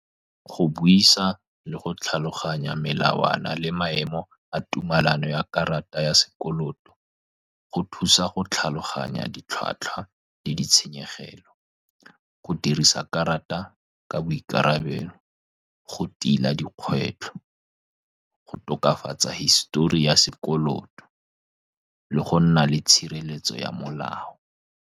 Go buisa le go tlhaloganya melawana le maemo a tumalano ya karata ya sekoloto, go thusa go tlhaloganya ditlhwatlhwa le ditshenyegelo. Go dirisa karata ka boikarabelo, go tila dikgwetlho, go tokafatsa hisitori ya sekoloto le go nna le tshireletso ya molao.